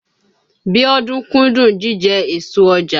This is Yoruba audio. Bíọ́dún kúndùn jíjẹ èso ọjà.